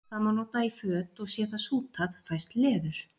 það má nota í föt og sé það sútað fæst leður